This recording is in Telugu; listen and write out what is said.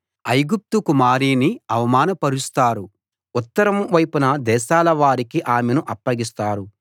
ఐగుప్తు కుమారిని అవమానపరుస్తారు ఉత్తరం వైపున దేశాల వారికి ఆమెను అప్పగిస్తారు